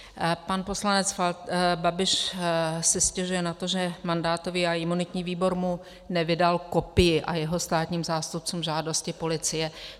Pan poslanec Babiš si stěžuje na to, že mandátový a imunitní výbor mu nevydal kopii, a jeho státním zástupcům, žádosti policie.